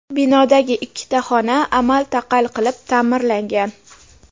Binodagi ikkita xona amal-taqal qilib ta’mirlangan.